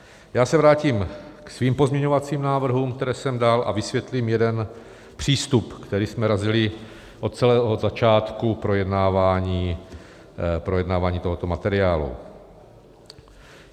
Já se vrátím ke svým pozměňovacím návrhům, které jsem dal, a vysvětlím jeden přístup, který jsme razili od samého začátku projednávání tohoto materiálu.